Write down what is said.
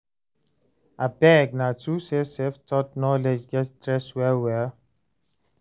abeg, na true say self-taught knowledge get stress well well?